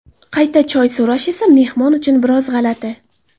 Qayta choy so‘rash esa mehmon uchun biroz g‘alati.